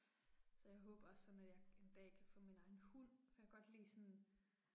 Så jeg håber også sådan at jeg en dag kan få min egen hund. For jeg kan godt lide sådan